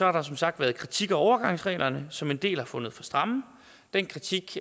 har der som sagt været kritik af overgangsreglerne som en del har fundet for stramme den kritik